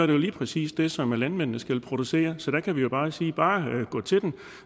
jo lige præcis det som landmændene skal producere så der kan vi bare sige bare gå til den